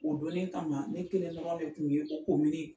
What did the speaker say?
O donni kama ne kelen tɔgɔ de kun ye ko Komini.